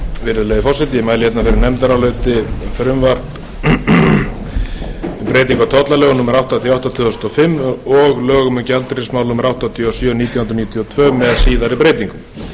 nefndaráliti um frumvarpi til laga um breytingu á tollalögum númer áttatíu og átta tvö þúsund og fimm og lögum um gjaldeyrismál númer áttatíu og sjö nítján hundruð níutíu og tvö með síðari breytingum